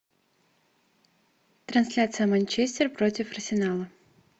трансляция манчестер против арсенала